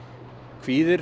kvíðir